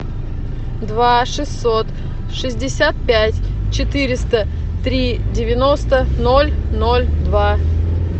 два шестьсот шестьдесят пять четыреста три девяносто ноль ноль два